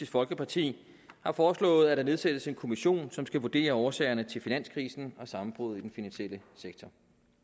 folkeparti har foreslået at der nedsættes en kommission som skal vurdere årsagerne til finanskrisen og sammenbruddet i den finansielle sektor